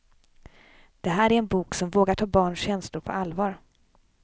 Det här är en bok som vågar ta barns känslor på allvar.